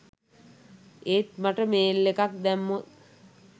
ඒත් මට මේල් එකක් දැම්මොත්